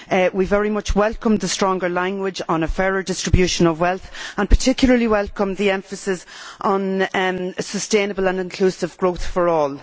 We very much welcome the stronger wording on a fairer distribution of wealth, and particularly welcome the emphasis on sustainable and inclusive growth for all.